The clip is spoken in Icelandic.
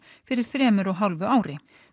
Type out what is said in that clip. fyrir þremur og hálfu ári